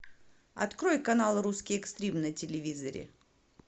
открой канал русский экстрим на телевизоре